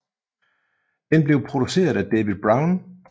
Den blev produceret af David Brown